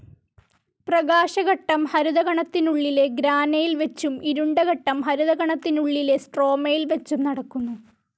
പ്രകാശഘട്ടം ഹരിതകണത്തിനുളളിലെ ഗ്രാനയിൽ വച്ചും ഇരുണ്ടഘട്ടം ഹരിതകണത്തിനുളളിലെ സ്ട്രോമയിൽ വച്ചും നടക്കുന്നു.